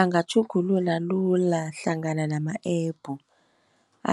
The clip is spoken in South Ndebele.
Angatjhugulula lula hlangana nama-app,